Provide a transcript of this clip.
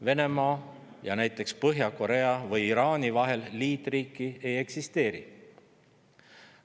Venemaa ja näiteks Põhja-Korea või Iraani vahel liitriiki ei eksisteeri.